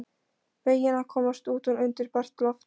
Feginn að komast út undir bert loft.